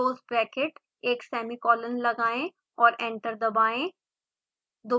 close bracket एक semicolon लगाएं और एंटर दबाएं